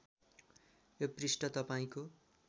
यो पृष्ठ तपाईँको